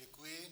Děkuji.